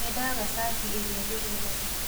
Nĩndaga cati ĩrĩa ndĩrendaga